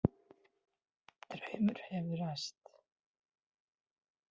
Draumur hefur ræst